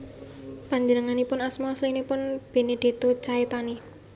Panjenenganipun asma aslinipun Benedetto Caetani